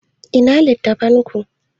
Ina littattafan ku?